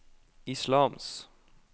islams